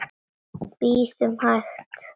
Bíðum hæg.